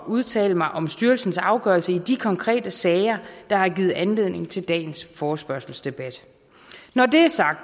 at udtale mig om styrelsens afgørelse i de konkrete sager der har givet anledning til dagens forespørgselsdebat når det er sagt